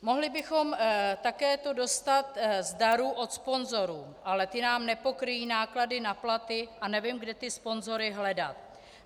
Mohli bychom to také dostat z darů od sponzorů, ale ty nám nepokryjí náklady na platy a nevím, kde ty sponzory hledat.